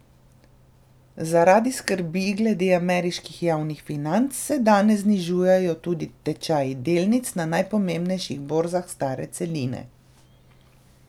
Zaradi skrbi glede ameriških javnih financ se danes znižujejo tudi tečaji delnic na najpomembnejših borzah stare celine.